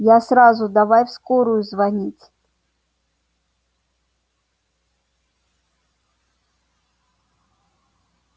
я сразу давай в скорую звонить